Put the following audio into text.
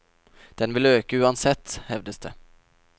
Den vil øke uansett, hevdes det.